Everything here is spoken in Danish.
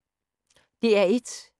DR1